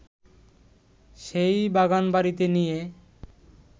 সেই বাগানবাড়িতে নিয়ে